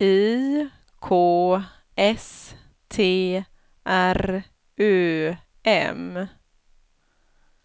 I K S T R Ö M